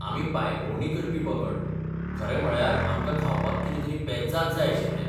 आमी पांयभोंवडी करपी पंगड, खरें म्हळ्यार, आमकां खावपाक कितें तरी पेजाद जाय आशिल्लें.